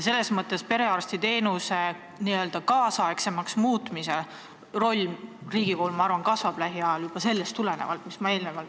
Selles mõttes perearstiteenuse n-ö kaasaegsemaks muutmise roll riigi puhul, ma arvan, kasvab lähiajal juba sellest tulenevalt.